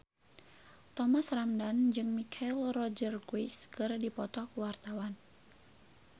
Thomas Ramdhan jeung Michelle Rodriguez keur dipoto ku wartawan